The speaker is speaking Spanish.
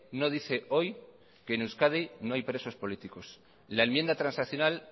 no dice hoy que en euskadi no hay presos políticos la enmienda transaccional